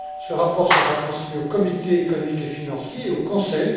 Ce rapport sera transmis au comité économique et financier et au Conseil.